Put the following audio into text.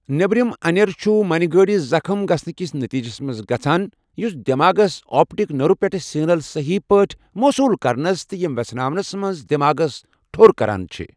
نیبرِم انیر چُھ مٕنہِ گٲڈِس زخٕم گَژھنہٕ کِس نٔتیٖجس منٛز گَژھان، یُس دٮ۪ماغس آپٹِک نٔرٛو پیٚٹھٕ سِگنَلہٕ صحیٖح پٲٹھۍ موصوٗل كرنس تہٕ یِم ویژھناونس منز دیماغس ٹھو٘ر كران چِھ ۔